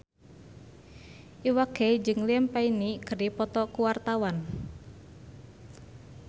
Iwa K jeung Liam Payne keur dipoto ku wartawan